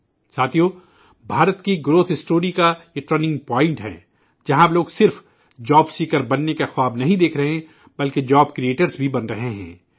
ساتھیو بھارت کی نمو کی داستان کایہ اہم موڑ ہے، جہاں اب لوگ صرف نوکری تلاش کرنے والا بننے کا خواب نہیں دیکھ رہے ہیں بلکہ روزگار کےمواقع پیدا کرنے والے بھی بن رہے ہیں